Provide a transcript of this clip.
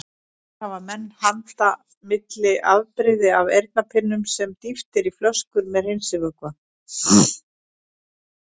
Hér hafa menn handa milli afbrigði af eyrnapinnum sem dýft er í flöskur með hreinsivökva.